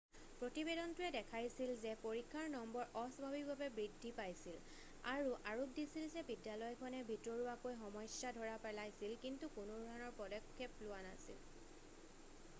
প্ৰতিবেদনটোৱে দেখাইছিল যে পৰীক্ষাৰ নম্বৰ অস্বাভাৱিকভাৱে বৃদ্ধি পাইছিল আৰু আৰোপ দিছিল যে বিদ্যালয়খনে ভিতৰুৱাকৈ সমস্যা ধৰা পেলাইছিল কিন্তু কোনোধৰণৰ পদক্ষেপ লোৱা নাছিল